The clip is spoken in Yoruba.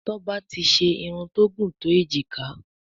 Toba tí ṣe Irun tó gún to ejika.